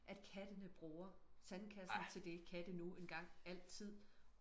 at kattene bruger sandkassen til det katte nu engang altid